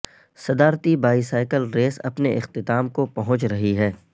صدارتی bicycle race اپنے اختتام کو پہنچ رہی ہے